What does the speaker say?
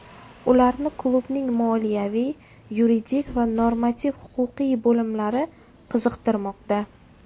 Ularni klubning moliyaviy, yuridik va normativ-huquqiy bo‘limlari qiziqtirmoqda.